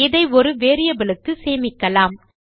இதை ஒரு வேரியபிள் க்கு சேமிக்கலாம்